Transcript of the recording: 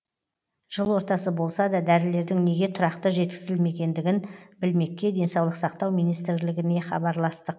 жыл ортасы болса да дәрілердің неге тұрақты жеткізілмегендігін білмекке денсаулық сақтау министрлігіне хабарластық